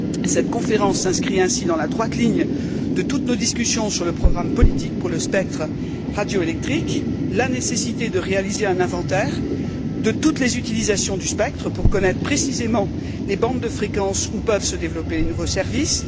Cette conférence s'inscrit ainsi dans la droite ligne de toutes nos discussions sur le programme politique pour le spectre radioélectrique, sur la nécessité de réaliser un inventaire de toutes les utilisations du spectre pour connaître précisément les bandes de fréquences où peuvent se développer les nouveaux services.